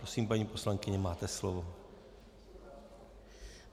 Prosím, paní poslankyně, máte slovo.